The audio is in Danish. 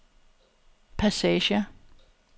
passager